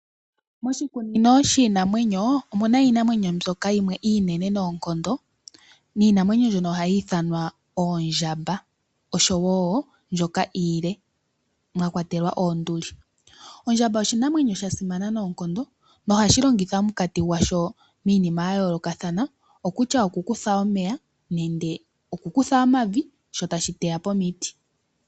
Moshikunino shiinamwenyo omuna iinamwenyo mbyoka yimwe iinene noonkondo, niinamwenyo mbyono oha yi ithanwa oondjamba. Osho woo mbyoka iile mwakwatelwa oonduli. Oondjamba oshinamwenyo shasimana noonkondo nohashi longitha omunkati gwasho miinima ya yoolokathana, okutya oku kutha omeya nenge oku kutha omavi sho tashi teya po omiti.